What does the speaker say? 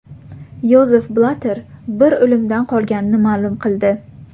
Yozef Blatter bir o‘limdan qolganini ma’lum qildi.